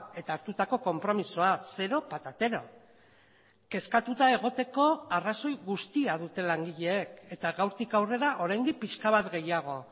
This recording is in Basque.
eta hartutako konpromisoa zero patatero kezkatuta egoteko arrazoi guztia dute langileek eta gaurtik aurrera oraindik pixka bat gehiago